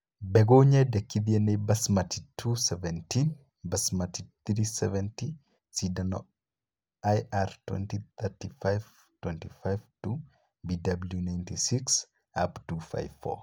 Mbegũ nyendekithie ni Basmati 217, Basmati 370, Sindano, IR 2035-25-2, BW 96, UP 254